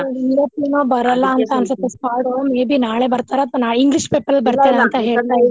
ಇವತ್ತ್ ಏನೊ ಬರಲ್ಲಾ ಅಂತಾ ಅನ್ಸುತ್ತೆ squad may be ನಾಳೆ ಬರ್ತಾರಾ ಅಥವಾ ನಾ english paper ಬರ್ತಾರಾ ಇದ್ರು